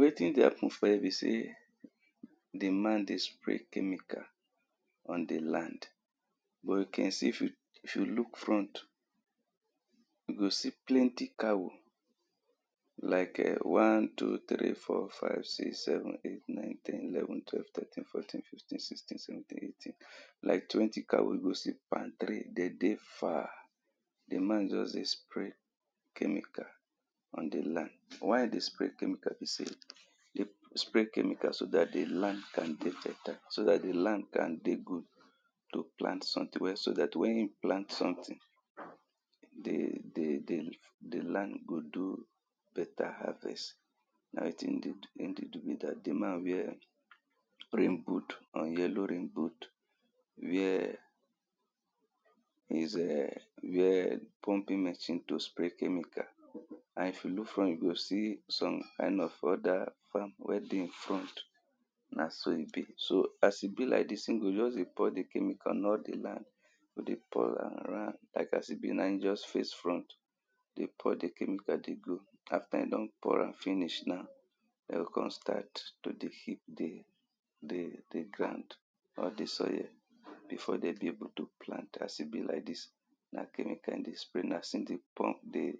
Wetin dem put for here bi sey di man dey spray chemical on di land. We can see, if you f you look front you go see plenty cow like um one, two three, four, five six, seven, eight ten, eleven, twelve, thirteen, fourteen, fifteen, sixteen, seventeen, eighteen like twenty cow wey you go see palm tree, dem dey far di man just dey spray chemical on di land. Why e dey spray chemical be sey e dey spray chemical, so dat di land can dey fertile, so dat di land can dey good to plant something, so dat wen e plant something di di di di land go do better harvest na wetin dem dey do be dat. Di man wear rain boot and yellow rain boot where his um wear pumping machine to spray chemical and if you look front, you go see some kind of other farm wey dey im front na so e be. So as e be like dis e go just dey pour di chemicals in all di land e go dey pour am around. Like as e be now e just face front dey pour di chemical dey go. After e don pour am finish now dem go come start to dey feed di di di ground di soil before dem be able to plant as e be like dis Na chemical e dey spray now as e dey pump di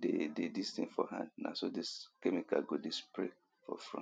di dis thing for hand na so di chemical go dey spray for front